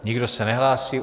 Nikdo se nehlásí.